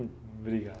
Obrigado.